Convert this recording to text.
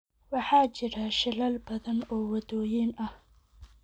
Waxaa jira shilal badan oo waddooyin ah